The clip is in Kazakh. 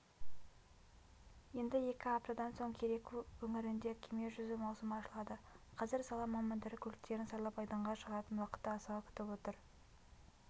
енді екі аптадан соң кереку өңірінде кеме жүзу маусымы ашылады қазір сала мамандары көліктерін сайлап айдынға шығатын уақытты асыға күтіп отыр